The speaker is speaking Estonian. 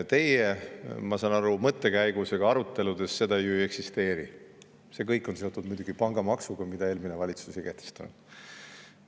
Teie, ma saan aru, mõttekäigus ega aruteludes seda ju ei eksisteeri, vaid kõik on seotud muidugi pangamaksuga, mida eelmine valitsus ei kehtestanud.